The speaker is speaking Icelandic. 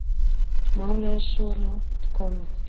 Málið er svo langt komið.